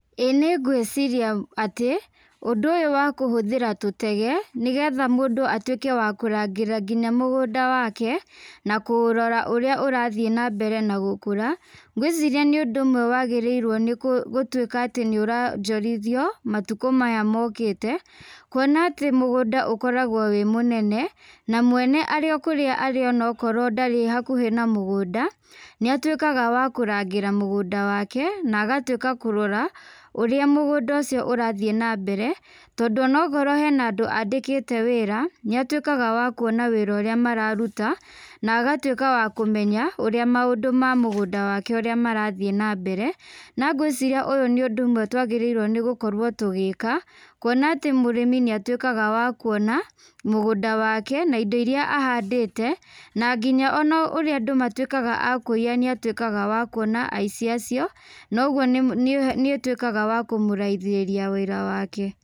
Ĩĩ nĩngwĩciria atĩ, ũndũ ũyũ wa kũhũthĩra tũtege, nĩgetha mũndũ atuĩke wa kũrangĩra nginya mũgũnda wake, na kuũrora ũrĩa ũrathiĩ nambere na gũkũra, ngwĩciria nĩũndũ ũmwe wagĩrĩirwo nĩgũtuĩka nĩoronjorithio, matukũ maya mokĩte, kuona atĩ mũgũnda ũkoragwo wĩ mũnene, na mwene arĩ o kũrĩa arĩ onakorwo ndarĩ hakuhĩ na mũgũnda, nĩatuĩkaga wa kũrangĩra mũgũnda wake, na agatuĩka kũrora, ũrĩa mũgũnda ũcio ũrathiĩ nambere, tondũ onongorwo hena andũ andĩkĩte wĩra, nĩatuĩkaga wa kuona wĩra ũrĩa mararuta, na agatuĩka wa kũmenya, ũrĩa maũndũ ma mũgũnda wake ũrĩa marathiĩ nambere, na ngwĩciria ũyũ nĩ ũndũ ũmwe twagĩrĩirwo gũkorwo tũgĩka, kuona atĩ mũrĩmi nĩatuĩkaga wa kuona mũgũnda wake na indo iria ahandĩte, na nginya ona ũrĩa andũ matuĩkaga a kũiya nĩatuĩkaga wa kuona aici acio, noguo nĩ nĩ nĩũtuĩkaga wa kũmũraithĩria wĩra wake.